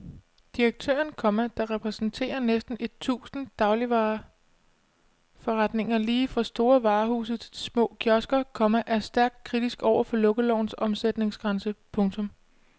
Direktøren, komma der repræsenterer næsten et tusind dagligvareforretninger lige fra store varehuse til små kiosker, komma er stærkt kritisk over for lukkelovens omsætningsgrænse. punktum